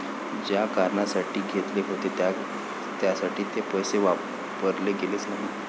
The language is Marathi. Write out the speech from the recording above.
ज्या कारणासाठी घेतले होते त्यासाठी ते पैसे वापरले गेलेच नाहीत.